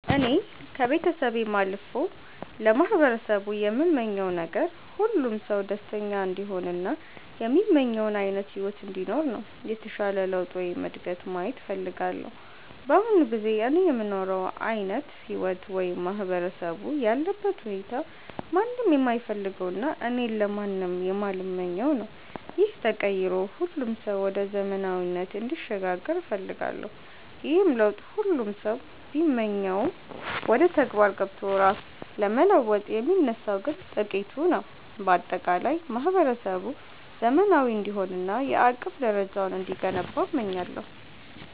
እኔ ከቤተሰቤም አልፎ ለማህበረሰቡ የምመኘው ነገር፣ ሁሉም ሰው ደስተኛ እንዲሆን እና የሚመኘውን ዓይነት ሕይወት እንዲኖር ነው። የተሻለ ለውጥ ወይም እድገት ማየት እፈልጋለሁ። በአሁኑ ጊዜ እኔ የምኖረው ዓይነት ሕይወት ወይም ማህበረሰቡ ያለበት ሁኔታ ማንም የማይፈልገውና እኔም ለማንም የማልመኘው ነው። ይህ ተቀይሮ ሁሉም ሰው ወደ ዘመናዊነት እንዲሸጋገር እፈልጋለሁ። ይህንን ለውጥ ሁሉም ሰው ቢመኘውም፣ ወደ ተግባር ገብቶ ራሱን ለመለወጥ የሚነሳው ግን ጥቂቱ ነው። በአጠቃላይ ማህበረሰቡ ዘመናዊ እንዲሆንና የአቅም ደረጃው እንዲገነባ እመኛለሁ።